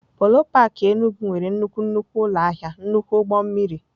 Polo park Enugwu nwere nnukwu nnukwu ụlọ ahịa nnukwu ụgbọ mmiri.